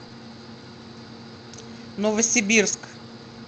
новосибирск